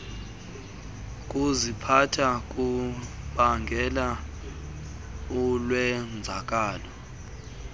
kuziphatha kubangela ulwenzakalo